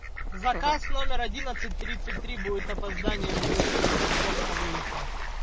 заказ номер одинадцать тридцать три будет опоздание на десять минут только выехал